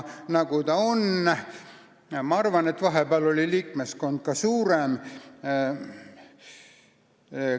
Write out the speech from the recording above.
Ma arvan, et vahepeal oli selle liikmeskond ka suurem.